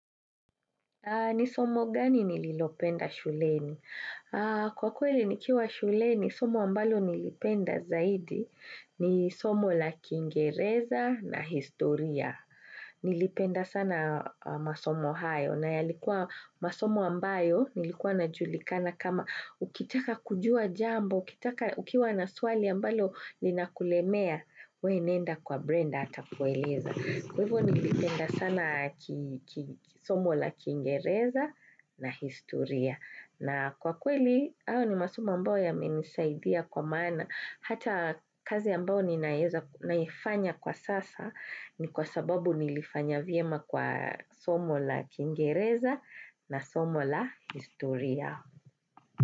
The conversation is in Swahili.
Nisomo gani nililopenda shuleni? Kwa kweli nikiwa shuleni, somo ambalo nilipenda zaidi ni somo la kingereza na historia. Nilipenda sana masomo hayo na yalikuwa masomo ambayo nilikuwa na julikana kama ukitaka kujua jambo, ukitaka ukiwa na suali ambalo linakulemea, we nenda kwa brenda ata kueleza. Kwa hivyo nilipenda sana kisomo la kingereza na historia. Na kwa kweli, hao ni masoma ambao yamenisaidia kwa maana. Hata kazi mbao ninaifanya kwa sasa ni kwa sababu nilifanya viema kwa somo la kingereza na somo la historia.